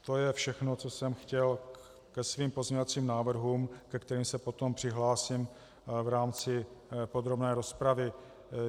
To je všechno, co jsem chtěl ke svým pozměňovacím návrhům, ke kterým se potom přihlásím v rámci podrobné rozpravy.